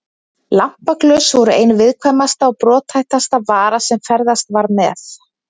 Lampaglös voru ein viðkvæmasta og brothættasta vara sem ferðast var með.